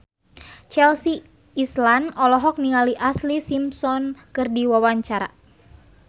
Chelsea Islan olohok ningali Ashlee Simpson keur diwawancara